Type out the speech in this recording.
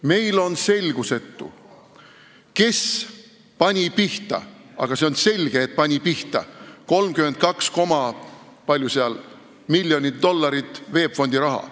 Meile on selgusetu, kes pani pihta – aga see on selge, et pani pihta – 32 koma ... palju seal oligi ... miljonit dollarit VEB Fondi raha.